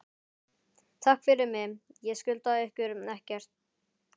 Takk fyrir mig, ég skulda ykkur ekkert.